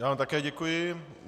Já vám také děkuji.